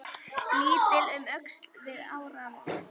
Litið um öxl við áramót.